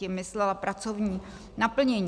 - Tím myslela pracovní naplnění.